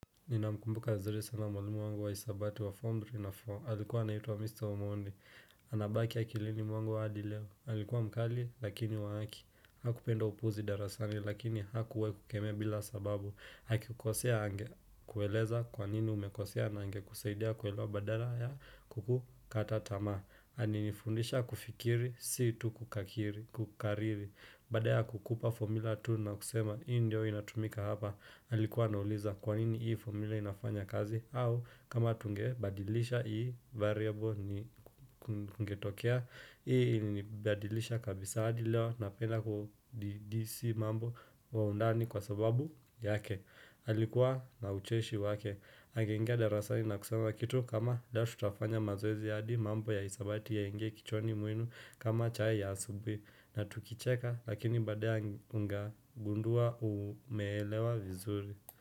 Ninamkumbuka vizuri sana mwalimu wangu wa hisabati wa Form 3 na. Aalikuwa anaituwa Mr. Omondi. Anabaki akilini mwangu hadi leo. Alikuwa mkali lakini wa haki. Hakupenda upuzi darasani lakini hakuwahi kukemea bila sababu. Akikukosea angekueleza kwa nini umekosea na angekuseidia kuelewa badala ya kukukata tama. Aninifundisha kufikiri, si tu kukakiri, kukariri. Basda kukupa formula tu na kusema hii ndio inatumika hapa. Halikuwa nauliza kwanini hii formula inafanya kazi au kama tunge badilisha hii variable ni kungetokea Hii ni badilisha kabisa adi leo napenda kudidisi mambo kwa undani kwa sababu yake alikuwa na ucheshi wake Angeingia darasani na kusema kitu kama leo tutafanya mazoezi hadi mambo ya hisabati yaingie kichwani mwenu kama chai ya asubui na tukicheka Lakini baadae nga gundua umeelewa vizuri.